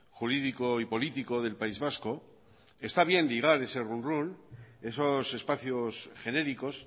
jurídico y político del país vasco está bien ligar ese run run esos espacios genéricos